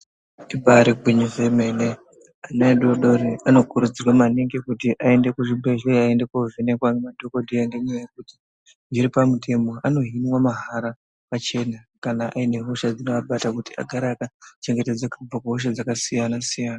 Ibari gwinyiso remene ana adoko anokurudzirwa maningi kuenda kuzvibhedhlera Akuenda kovhenekwa madhokodheya ngenyaya yekuti zviro pamutemo Hino mahara pachena kana paine hosha dzingavabata vagare vakachengetedza zvakasiyana siyana.